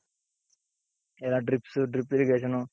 ಎಲ್ಲಾ drips drip irrigation,